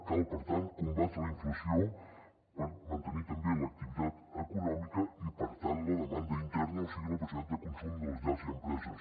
cal per tant combatre la inflació per mantenir també l’activitat econòmica i per tant la demanda interna o sigui la possibilitat de consum de les llars i empreses